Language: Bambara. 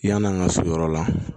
Yan'an ka so yɔrɔ la